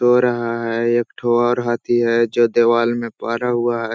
सो रहा है एक ठो और हाथी है जो देवाल में पारा हुआ है।